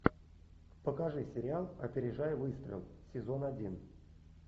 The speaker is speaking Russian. покажи сериал опережая выстрел сезон один